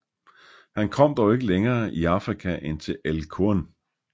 Han kom dog ikke længere i Afrika end til El Qurn